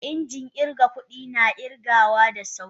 Injin irga kudin na kirgawa da sauri.